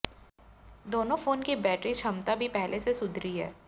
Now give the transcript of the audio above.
दोनों फोन की बैटरी क्षमता भी पहले से सुधरी है